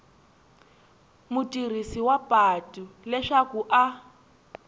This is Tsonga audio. mutirhisi wa patu leswaku a